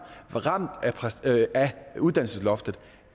uddannelsesloftet